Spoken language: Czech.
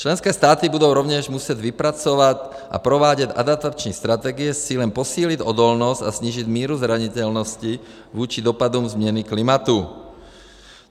Členské státy budou rovněž muset vypracovat a provádět adaptační strategie s cílem posílit odolnost a snížit míru zranitelnosti vůči dopadům změny klimatu.